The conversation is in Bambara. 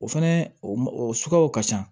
O fɛnɛ o sukuyaw ka ca